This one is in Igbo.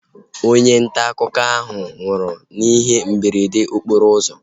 Onye ntaakụkọ ahu nwụrụ n'ihe mberede okporo ụzọ ahu